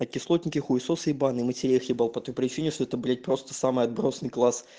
а кислотники хуесосы ебаные матерей их ебал по той причине что это просто самый отбросный класс